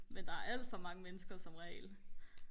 men der er alt for mange mennesker som regel